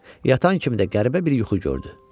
Yatan kimi də qəribə bir yuxu gördü.